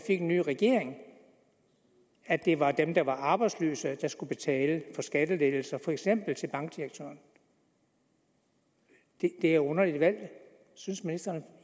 en ny regering at det var dem der var arbejdsløse der skulle betale for skattelettelser til for eksempel bankdirektøren det er et underligt valg synes ministeren